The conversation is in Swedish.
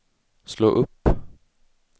slå upp